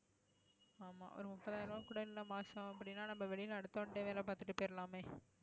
ஆமா ஒரு முப்பதாயிரம் ரூபாய் கூட இல்லை மாசம் அப்படின்னா நம்ம வெளியில அடுத்தவன்கிட்டயே வேலை பார்த்துட்டு போயிறலாமே